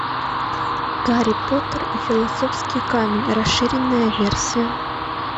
гарри поттер и философский камень расширенная версия